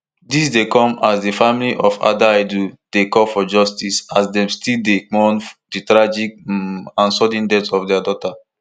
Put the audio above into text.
dis dey come as di family of adaidu dey call for justice as dem still dey mourn di tragic um and sudden death of dia daughter